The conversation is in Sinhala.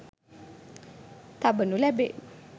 තබනු ලැබේ.